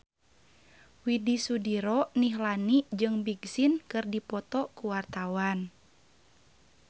Widy Soediro Nichlany jeung Big Sean keur dipoto ku wartawan